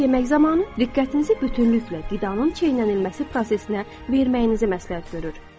O, yemək zamanı diqqətinizi bütünlüklə qidanın çeynənilməsi prosesinə verməyinizi məsləhət görür.